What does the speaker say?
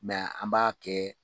an b'a kɛ